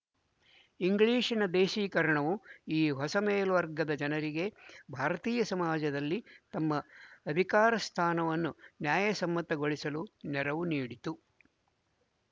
ಇಂಗ್ಲಿಶಿನ ದೇಸೀಕರಣವು ಈ ಹೊಸ ಮೇಲ್ವರ್ಗದ ಜನರಿಗೆ ಭಾರತೀಯ ಸಮಾಜದಲ್ಲಿ ತಮ್ಮ ಅಧಿಕಾರಸ್ಥಾನವನ್ನು ನ್ಯಾಯಸಮ್ಮತಗೊಳಿಸಲು ನೆರವು ನೀಡಿತು